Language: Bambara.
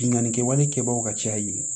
Binnkanni kɛwale kɛbagaw ka caya yen